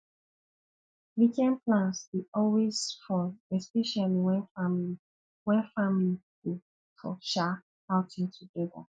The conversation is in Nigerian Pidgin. weekend plans dey always fun especially when family when family go for um outing together